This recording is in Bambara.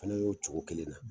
Fana y'o cogo kelen na